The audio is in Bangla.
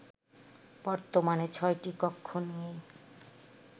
বর্তমানে ছয়টি কক্ষ নিয়ে